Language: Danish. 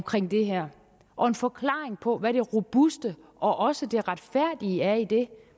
det her og en forklaring på hvad det robuste og også det retfærdige er i det